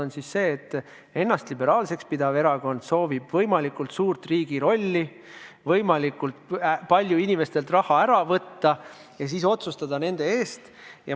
Üks on see, et ennast liberaalseks pidav erakond soovib võimalikult suurt riigi rolli, soovib võimalikult palju inimestelt raha ära võtta ja otsustada nende eest.